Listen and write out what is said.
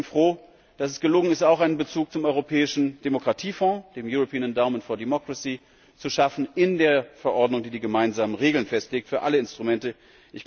Ich bin deswegen froh, dass es gelungen ist, auch einen Bezug zum Europäischen Demokratiefonds, dem European Endowment for Democracy zu schaffen in der Verordnung, die die gemeinsamen Regeln für alle Instrumente festlegt.